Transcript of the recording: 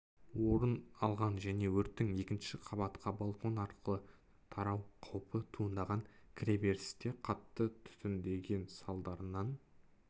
орын алған және өрттің екінші қабатқа балкон арқылы тарау қаупі туындаған кіреберісте қатты түтіндеген салдарынан